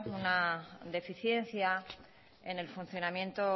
una deficiencia en el funcionamiento